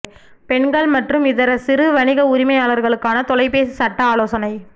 பெண்கள் மற்றும் இதர சிறு வணிக உரிமையாளர்களுக்கான தொலைபேசி சட்ட ஆலோசனை